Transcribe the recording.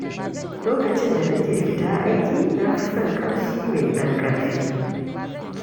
Lokacin da nake fita aiki na fi son ƙamshi mai ɗan ƙarfi.